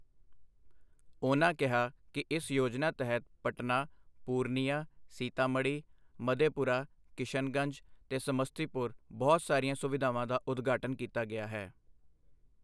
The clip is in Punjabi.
ਉਨ੍ਹਾਂ ਕਿਹਾ ਕਿ ਇਸ ਯੋਜਨਾ ਤਹਿਤ ਪਟਨਾ, ਪੂਰਨੀਆ, ਸੀਤਾਮੜ੍ਹੀ, ਮਧੇਪੁਰਾ, ਕਿਸ਼ਨਗੰਜ ਤੇ ਸਮੱਸਤੀਪੁਰ ਬਹੁਤ ਸਾਰੀਆਂ ਸੁਵਿਧਾਵਾਂ ਦਾ ਉਦਘਾਟਨ ਕੀਤਾ ਗਿਆ ਹੈ।